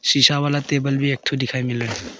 शीशा वाला टेबल एक ठो दिखाई मिल रहा--